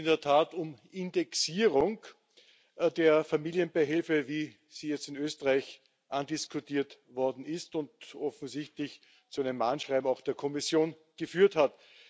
Es geht in der Tat um Indexierung der Familienbeihilfe, wie sie jetzt in Österreich andiskutiert worden ist und offensichtlich zu einem Mahnschreiben der Kommission geführt hat.